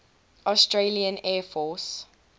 australian air force